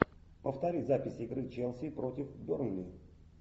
повтори запись игры челси против бернли